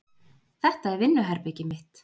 Þetta er vinnuherbergið mitt.